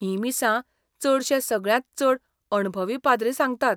हीं मिसां चडशे सगळ्यांत चड अणभवी पाद्री सांगतात.